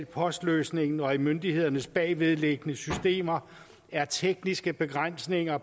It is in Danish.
post løsning og i myndighedernes bagvedliggende systemer er tekniske begrænsninger